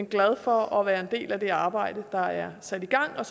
glad for at være en del af det arbejde der er sat i gang og